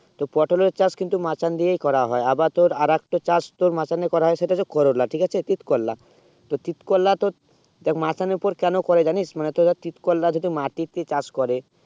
তো পটোল চাষ তোর মাচান দিয়ে করা হয়ে আবার তোর আর একটা চাষ মাচানে করা হয়ে সেটা হচ্ছে করলা ঠিক আছে তিত করলা তো তিত করলা তো দেখ মাচানে উপরে কেন করে জানিস মানে তোর তিত করলা যদি মাটি তে চাষ করে